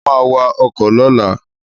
Mo ma wa ọkọ̀ lọ́la